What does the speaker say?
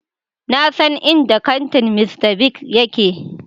Na san inda kantin Mr. Biggs yake.